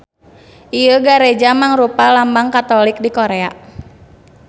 Ieu gareja mangrupa lambang Katolik di Korea.